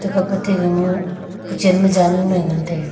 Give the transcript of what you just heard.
hape te ga ma kuchan ma janu e ngan taiga.